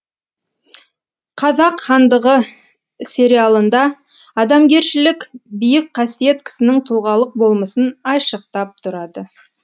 қазақ хандығы сериялында адамгершілік биік қасиет кісінің тұлғалық болмысын айшықтап тұрады